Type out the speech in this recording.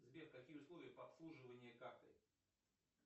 сбер какие условия по обслуживанию карты